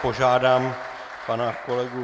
Požádám pana kolegu